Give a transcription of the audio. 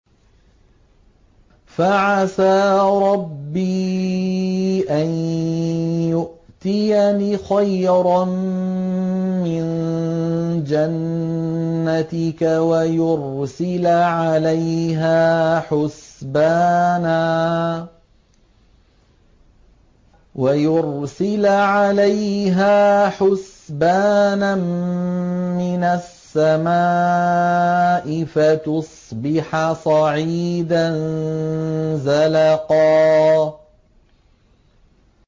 فَعَسَىٰ رَبِّي أَن يُؤْتِيَنِ خَيْرًا مِّن جَنَّتِكَ وَيُرْسِلَ عَلَيْهَا حُسْبَانًا مِّنَ السَّمَاءِ فَتُصْبِحَ صَعِيدًا زَلَقًا